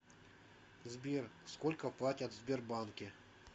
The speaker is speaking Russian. сбер сколько платят в сбербанке